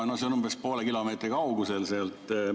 No see on umbes poole kilomeetri kaugusel sealt.